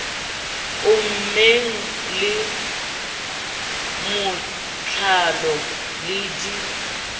ommeng le matlalo le di